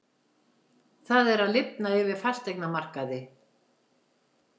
Það er að lifna yfir fasteignamarkaði